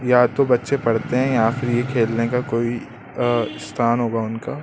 या तो बच्चे पढ़ते हैं या फिर यह खेलने का कोई स्थान होगा उनका--